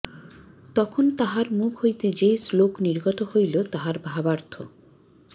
তখন তাঁহার মুখ হইতে যে শ্লোক নির্গত হইল তাহার ভাবার্থঃ